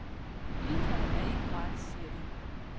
Ydelserne er ikke gratis, siger de.